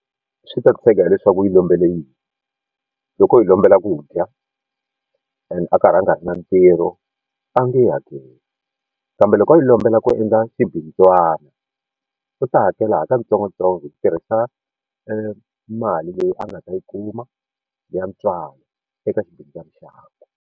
Swi ta tshege hileswaku u yi lombele yini loko hi lombela ku dya and a karhi a nga ri na ntirho a nge hakeli kambe loko a yi lombela ku endla swibindzwana u ta hakela ha katsongotsongo hi ku tirhisa mali leyi a nga ta yi kuma ya ntswalo eka swibindzwana xakwe.